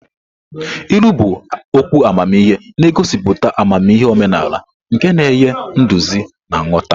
Ilu bụ okwu amamihe na-egosipụta amamihe omenala nke na-enye nduzi na nghọta.